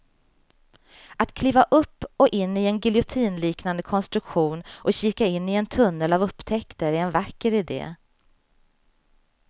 Att kliva upp och in i en giljotinliknande konstruktion och kika in i en tunnel av upptäckter är en vacker idé.